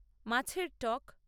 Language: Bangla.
মাছের টক